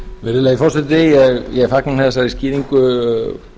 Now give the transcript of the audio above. virðulegi forseti ég fagna þessari skýringu